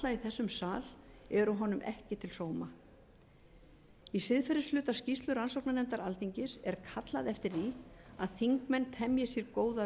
þessum sal eru henni ekki til sóma í siðferðishluta skýrslu rannsóknarnefndar alþingis er kallað eftir því að þingmenn temji sér góða